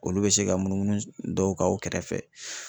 Olu bɛ se ka munumunu dɔw ka u kɛrɛfɛ.